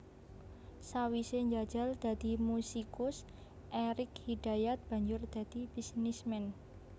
Sawisé njajal dadi musikus Erik Hidayat banjur dadi bisnisman